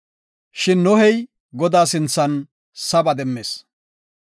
Shin Nohey Godaa sinthan saba demmis.